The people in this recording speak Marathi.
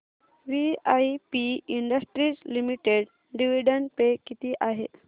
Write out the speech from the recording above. VIP industries limited dividend pay किती आहे